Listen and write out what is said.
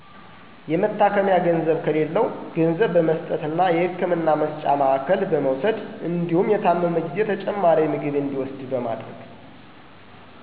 የመታከሚያ ገንዘብ ከሌላው ገንዘብ በመስጠት እና የህክምና መስጫ ማዕከል በመውሰድ እንዲሁም የታመመ ጊዜ ተጨማሪ ምግብ እንዲውስድ በማድረግ